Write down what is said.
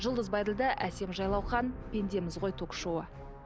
жұлдыз байділдә әсем жайлаухан пендеміз ғой ток шоуы